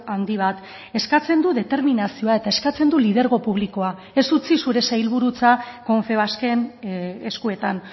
handi bat eskatzen du determinazioa eta eskatzen du lidergo publikoa ez utzi zure sailburutza confebasken eskuetan